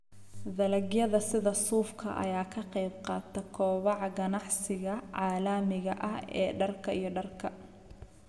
Dalagyada sida suufka ayaa ka qaybqaata kobaca ganacsiga caalamiga ah ee dharka iyo dharka.